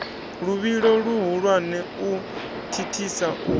luvhilo luhulwane u thithisa u